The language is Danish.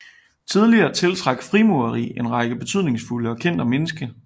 Tidligere tiltrak frimureri en række betydningsfulde og kendte mennesker